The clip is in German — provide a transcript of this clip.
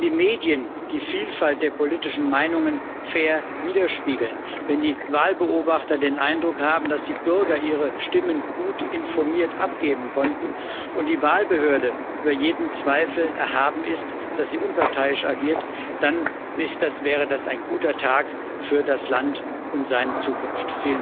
Wenn die Medien die Vielfalt der politischen Meinungen fair widerspiegeln, wenn die Wahlbeobachter den Eindruck haben, dass die Bürger ihre Stimmen gut informiert abgeben konnten und die Wahlbehörde über jeden Zweifel erhaben ist, dass sie unparteiisch agiert, dann wäre das ein guter Tag für das Land und seine Zukunft.